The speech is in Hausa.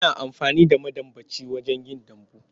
Ana amfani da madambaci wajen yin dambu.